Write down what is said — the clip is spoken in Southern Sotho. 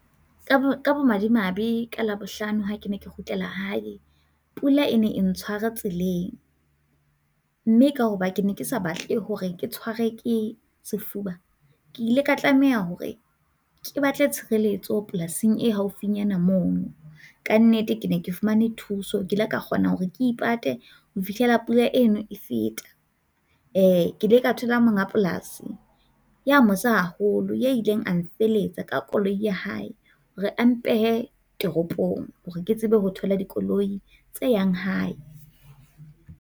Ka bo ka bomadimabe ka Labohlano ha ke ne ke kgutlela hae pula e ne ntshware tseleng mme ka hoba ke ne ke sa batle hore ke tshwarwe ke sefuba ke ile ka tlameha hore ke batle tshireletso polasing e haufinyana mono. Ka nnete ke ne ke fumane thuso, ke ile ka kgona hore ke ipate ho fihlela pula eno e feta. E, ke ile ka thola monga polasi ya mosa haholo ya ileng a mfelehetsa ka koloi ya hae, hore a mpehe toropong hore ke tsebe ho thola dikoloi tse yang hae.